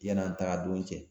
Yann'an tagadon cɛ